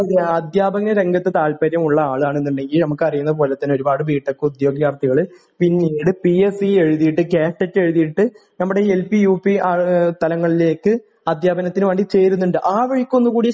അധ്യാപന രംഗത്ത് താല്പര്യമുള്ള ആളാണ് എന്നുണ്ടെങ്കില് നമുക്കറിയുന്നത് പോലെ തന്നെ ഒരുപാട് ബി ടെക് ഉദ്യോഗാർഥികള് പിന്നീട് പി എസ് സി എഴുതിയിട്ട് കാറ്റ് ഒക്കെ എഴുതിയിട്ട് നമ്മുടെ എൽ പി യു പി തലങ്ങളിലേക്ക് അദ്ധ്യാപനത്തിന് വേണ്ടി ചേരുന്നുണ്ട് ആ വഴിക്ക് ഒന്ന് കൂടെ ശ്രമികുക